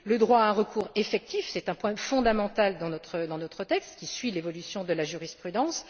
le droit à un recours effectif, qui est un point fondamental dans notre texte qui suit l'évolution de la jurisprudence